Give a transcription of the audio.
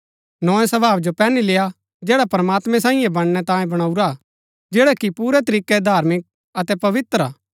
नोए स्वभाव जो पैहनी लेय्आ जैडा प्रमात्मैं सांईयै बनणै तांये बणाऊरा हा जैड़ा की पुरै तरीकै धार्मिक अतै पवित्र हा